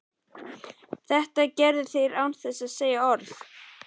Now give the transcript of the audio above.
Þetta gerðu þeir án þess að segja orð og